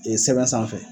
Ee sɛbɛn sanfɛ